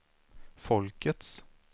folkets